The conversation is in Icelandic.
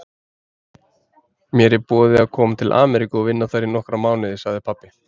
Mér er boðið að koma til Ameríku og vinna þar í nokkra mánuði sagði pabbi.